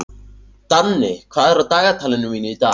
Danni, hvað er á dagatalinu mínu í dag?